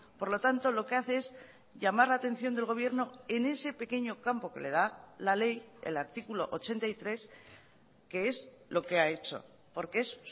por lo tanto lo que hace es llamar la atención del gobierno en ese pequeño campo que le da la ley el artículo ochenta y tres que es lo que ha hecho porque es